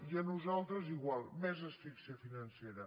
i a nosaltres igual més asfíxia financera